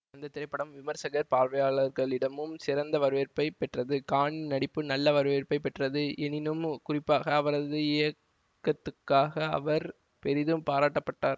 அந்த திரைப்படம் விமர்சகர் பார்வையாளர்களிடமும் சிறந்த வரவேற்பை பெற்றது கானின் நடிப்பு நல்ல வரவேற்பை பெற்றது எனினும் குறிப்பாக அவரது இயக்கத்துக்காக அவர் பெரிதும் பாராட்டப்பட்டார்